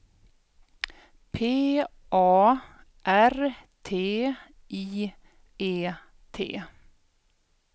P A R T I E T